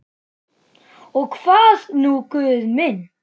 Og hvað nú Guð minn?